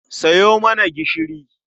Sayo mana gishiri.